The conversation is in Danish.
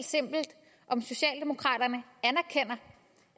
om socialdemokraterne